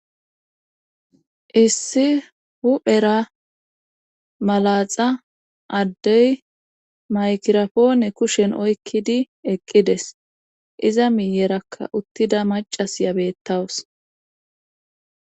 issi huphera malaxa addey maykirapoone kushen oykkidi eqqides iza miyerakka uttida macasya bettawus